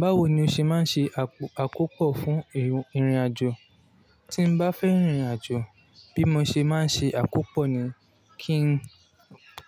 Báwo ni o ṣe máa ń ṣe àkópò fún ìrìnàjò? Tí n bá fẹ́ rìn ìrìnàjò, bí mo ṣe máa ń ṣe àkópò ni